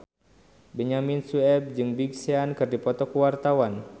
Benyamin Sueb jeung Big Sean keur dipoto ku wartawan